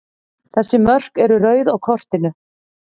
Þessi mörk eru rauð á kortinu.